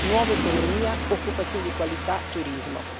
nuova economia, occupazione di qualità, turismo.